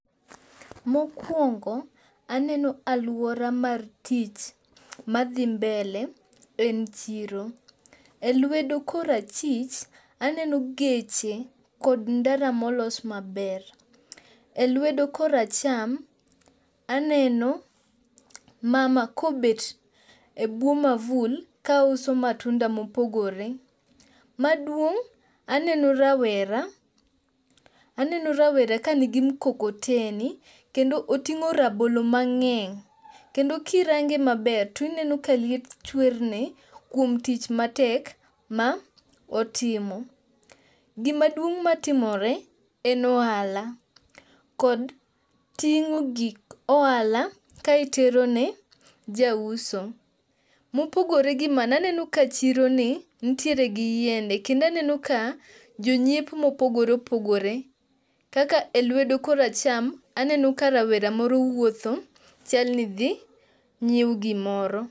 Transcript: Mokuongo aneno aluora mar tich madhi mbele en chiro elwedo korachich aneno geche kod ndara molos maber. E lwedo koracham aneno mama kobet ebwo mavul kauso matundo mopogore. Maduong' aneno rawera aneno rawera ka nigi mukokoteni kendo oting'o rabolo mang'eny, kendo kirange maber to ineno ka liet chwerne kuom tich matek ma otimo. Gima duong' matimore en ohala kod ting'o gik ohala ka iterone jauso. Mopogore gi mano aneno ka chironi nitiere gi yiende kendo aneno ka jonyiepo mopogore opogore kaka elwedo koracham aneno ka rawera moro wuotho chal ni dhi nyiewo gimoro.